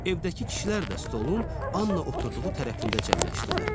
Evdəki kişilər də stolun Anna oturduğu tərəfində cəmləşdilər.